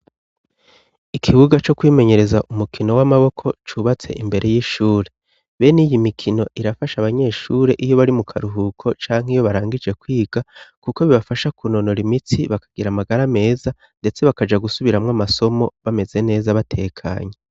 Ikibuga co kwimenyereza umukino w'amaboko cubatse imbere y'ishure. Bene iyo mikino irafasha abanyeshure iyo bari mu karuhuko canke iyo barangije kwiga kuko bibafasha kunonora imitsi bakagira amagara meza ndetse bakaja gusubiramwo amasomo bameze neza batekanye.